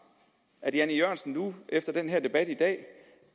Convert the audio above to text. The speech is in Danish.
at herre jan e jørgensen efter den her debat i dag